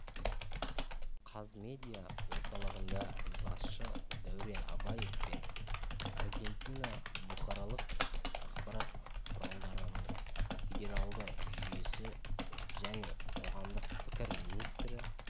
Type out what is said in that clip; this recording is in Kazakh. қазмедиа орталығында басшысы дәурен абаев пен аргентина бұқаралық ақпарат құралдарының федералды жүйесі және қоғамдық пікір министрі